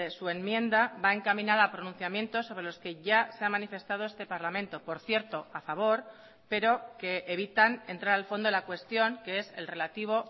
su enmienda va encaminada a pronunciamientos sobre los que ya se ha manifestado este parlamento por cierto a favor pero que evitan entrar al fondo de la cuestión que es el relativo